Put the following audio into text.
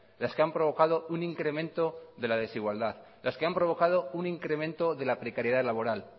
las que han provocado un incremento de la desigualdad los que han provocado un incremento de la precariedad laboral